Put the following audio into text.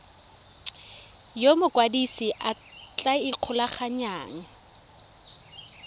yo mokwadise a tla ikgolaganyang